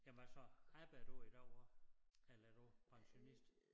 Jamen hvad så arbejder du i dag også eller er du pensionist